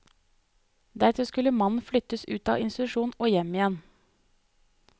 Deretter skulle mannen flyttes ut av institusjonen og hjem igjen.